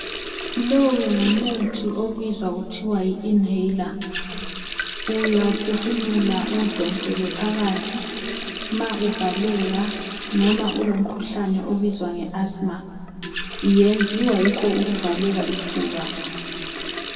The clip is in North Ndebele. Lowu ngumuthi obizwa kuthiwa yi"inhaler".Uyawuphefumula uwudonsele phakathi ma uvaleka noma ulomkhuhlane obizwa uthiwa yi asima. Uyenziwa yikho ukuvaleka isifuba.